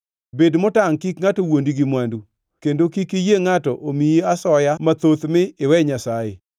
Bed motangʼ kik ngʼato wuondi gi mwandu, kendo kik iyie ngʼato omiyi asoya mathoth mi iwe Nyasaye.